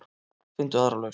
Finndu aðra lausn.